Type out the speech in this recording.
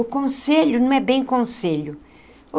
O conselho não é bem conselho.